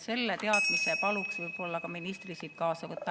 Selle teadmise paluks ministril siit kaasa võtta.